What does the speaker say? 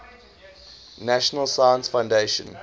national science foundation